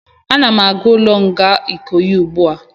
Ana m aga n'ụlọ nga Ikoyi ugbu a